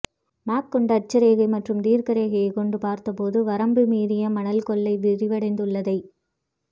map கொண்டு அட்ச ரேகை மற்றும் தீர்க்க ரேகையை கொண்டு பார்த்தபோது வரம்பு மீறி மணல் கொள்ளை விரிவடைந்துள்ளதை